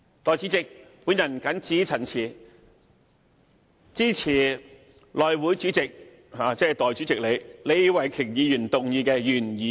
代理主席，我謹此陳辭，支持內務委員會主席，即代理主席李慧琼議員動議的原議案。